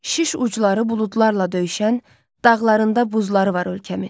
Şiş ucları buludlarla döyüşən, dağlarında buzları var ölkəmin.